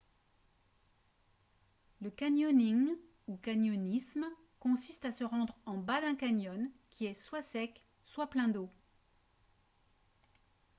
le canyoning ou canyonisme consiste à se rendre en bas d’un canyon qui est soit sec soit plein d’eau